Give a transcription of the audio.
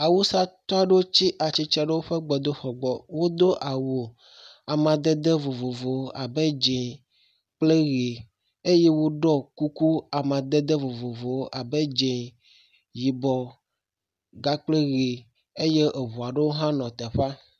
Awusatɔ aɖewo tsi atsitre ɖe woƒe gbedoxɔ gbɔ. Wodo awu amadede vovovo abe ʋe kple dzɛ̃eye woɖɔ kuku amadede vovovowo abe ʋe, dze kpakple yibɔ eye eŋu aɖewo hã nɔ afi ma.